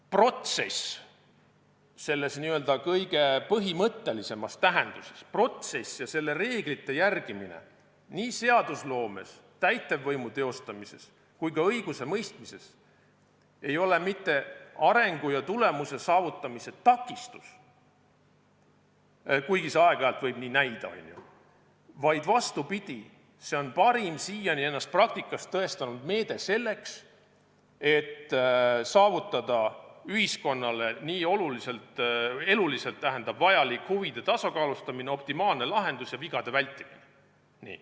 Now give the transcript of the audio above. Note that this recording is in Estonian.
Protsess selles kõige põhimõttelisemas tähenduses ja selle reeglite järgimine nii seadusloomes, täitevvõimu teostamises kui ka õigusemõistmises ei ole mitte arengu ja tulemuse saavutamise takistus – kuigi see aeg-ajalt võib nii näida –, vaid vastupidi, see on parim siiani ennast praktikas tõestanud meede selleks, et saavutada ühiskonnale nii eluliselt vajalik huvide tasakaalustamine, optimaalne lahendus ja vigade vältimine.